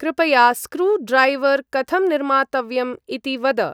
कृपया screwdriver कथं निर्मातव्यम् इति वद।